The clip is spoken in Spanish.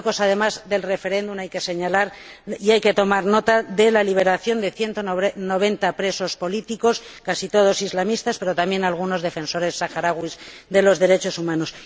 En Marruecos, además del referéndum, hay que señalar y tomar nota de la liberación de 190 presos políticos, casi todos islamistas, pero también algunos defensores saharauis de los derechos humanos.